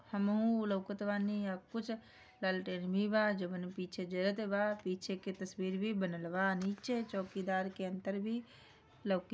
हम लोकटवान पीछे के तस्वीर भी बनलवा पीछे छोंकीदार की अंतर भी लोकी--